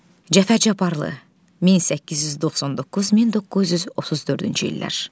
Cəfər Cabbarlı 1899-1934-cü illər.